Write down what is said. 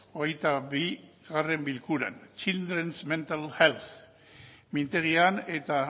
hogeita bigarrena bilkuran childrens mental health mintegian eta